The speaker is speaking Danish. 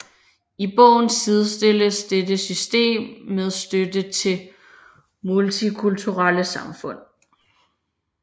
I bogen sidestilles dette system med støtte til multikulturelle samfund